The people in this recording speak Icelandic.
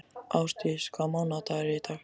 Ásdís, hvaða mánaðardagur er í dag?